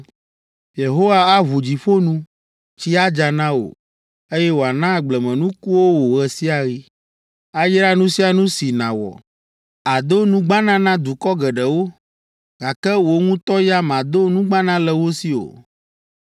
Yehowa aʋu dziƒo nu, tsi adza na wò, eye wòana agblemenukuwo wò ɣe sia ɣi. Ayra nu sia nu si nàwɔ; àdo nugbana na dukɔ geɖewo, gake wò ŋutɔ ya màdo nugbana le wo si o.